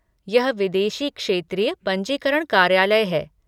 यह विदेशी क्षेत्रीय पंजीकरण कार्यालय है।